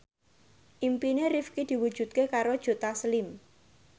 impine Rifqi diwujudke karo Joe Taslim